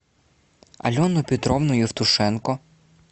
алену петровну евтушенко